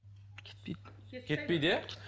кетпейді кетпейді иә